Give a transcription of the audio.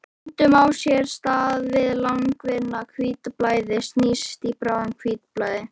Stundum á sér stað að langvinna hvítblæðið snýst í bráða-hvítblæði.